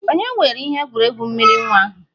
Ònye weere ihe egwuregwu mmiri nwa ahụ?